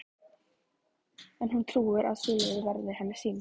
En hún trúir að sú leið verði henni sýnd.